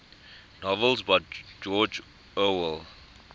novels by george orwell